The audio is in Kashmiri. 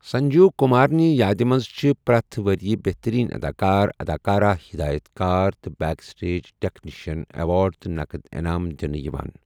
سنجیو کُمارنہِ یادِ منٛز چھِ پرٛٮ۪تھ ؤرۍ یہِ بہتٔریٖن اداکار، اداکارہ، ہدایت کار تہٕ بیک سٹیج ٹیکنیشنَن ایوارڈ تہٕ نقد انعام دِنہٕ یِوان۔